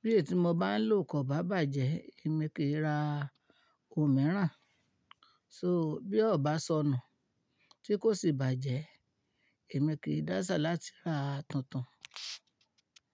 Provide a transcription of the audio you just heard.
bí èyí tí mo bá ń lò kò bá bàjẹ́, èmi kì í ra ohun mìíràn. So bí ó bá sọnù tí kò sì bàjẹ́, èmi kì dáṣà láti ra tuntun.